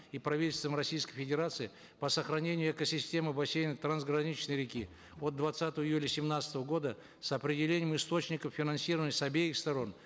и правительством российской федерации по сохранению экосистемы в бассейнах трансграничной реки от двадцатого июля семнадцатого года с определением источников финансирования с обеих сторон